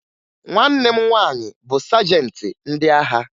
Nwanne m nwaanyị bụ sajentị ndị agha